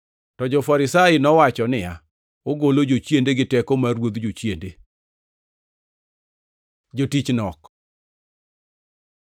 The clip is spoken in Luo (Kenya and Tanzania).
To jo-Farisai to nowacho niya, “Ogolo jochiende gi teko mar ruodh jochiende.” Jotich nok